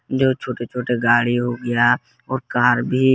जो छोटे छोटे गाड़ी हो गया और कार भी।